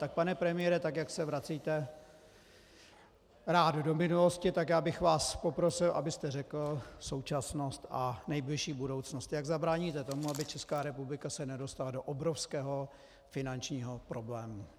Tak pane premiére, tak jak se vracíte rád do minulosti, tak já bych vás poprosil, abyste řekl současnost a nejbližší budoucnost, jak zabráníte tomu, aby Česká republika se nedostala do obrovského finančního problému.